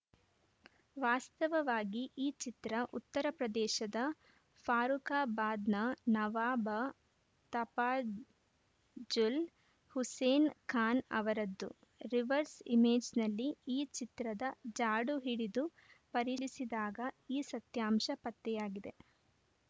ವಾಸ್ತವವಾಗಿ ಈ ಚಿತ್ರ ಉತ್ತರಪ್ರದೇಶದ ಫಾರುಖಾಬಾದ್‌ನ ನವಾಬ ತಫಾಝುಲ್‌ ಹುಸೇನ್‌ ಖಾನ್‌ ಅವರದ್ದು ರಿವರ್ಸ್‌ ಇಮೇಜ್‌ನಲ್ಲಿ ಈ ಚಿತ್ರದ ಜಾಡು ಹಿಡಿದು ಪರಿಲಿಸಿದಾಗ ಈ ಸತ್ಯಾಂಶ ಪತ್ತೆಯಾಗಿದೆ